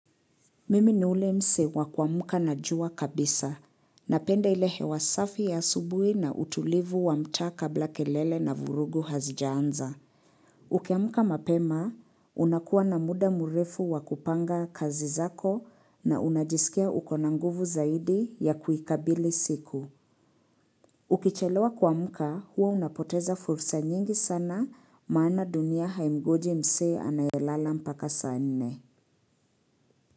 Mimi ni ule mse wa kuamka na jua kabisa. Napenda ile hewa safi ya asubui na utulivu wa mtaa kabla kelele na vurugu hazijaanza. Ukiamuka mapema, unakuwa na muda murefu wa kupanga kazi zako na unajisikia uko na nguvu zaidi ya kuikabili siku. Ukichelewa kuamka, huwa unapoteza fursa nyingi sana maana dunia haimngoji mse anayelala mpaka saa nne.